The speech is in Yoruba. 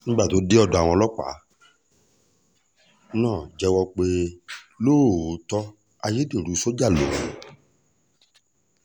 nígbà tó dé ọ̀dọ̀ àwọn ọlọ́pàá náà jẹ́wọ́ pé lóòótọ́ ayédèrú sójà lòun